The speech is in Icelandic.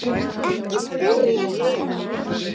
Ekki spyrja núna!